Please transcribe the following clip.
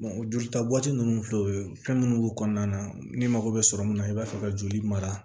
jolita bɔ tɛ ninnu filɛ o ye fɛn minnu b'u kɔnɔna na ni mago bɛ sɔrɔ min na i b'a fɛ ka joli mara